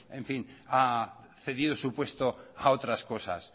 ha cedido su puesto a otras cosas